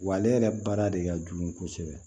Wa ale yɛrɛ baara de ka jugu kosɛbɛ